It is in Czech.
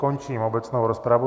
Končím obecnou rozpravu.